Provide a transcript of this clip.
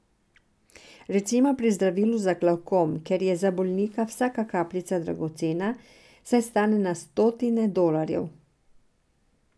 Recimo pri zdravilu za glavkom, kjer je za bolnika vsaka kapljica dragocena, saj stane na stotine dolarjev.